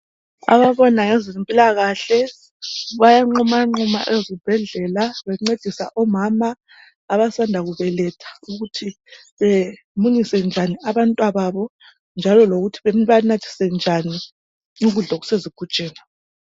Ababona ngezempilakahle bayanqumanquma ezibhedlela bencedisa omama abasanda kubeletha ukuthi bemunyise njani abantwababo njalo bebanathise njani ukudla okusezigujini.